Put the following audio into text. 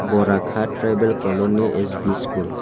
bora kat tribal colony S B school.